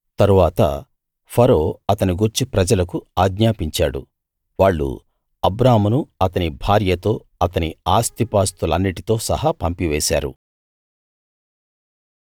తరువాత ఫరో అతని గూర్చి ప్రజలకు ఆజ్ఞాపించాడు వాళ్ళు అబ్రామును అతని భార్యతో అతని ఆస్తిపాస్తులన్నిటితో సహా పంపివేశారు